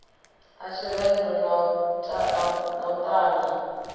ḽa tshirendo na u ṱana